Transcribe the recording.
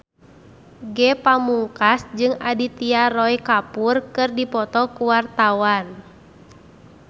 Ge Pamungkas jeung Aditya Roy Kapoor keur dipoto ku wartawan